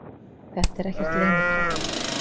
Þetta er ekkert leyniplagg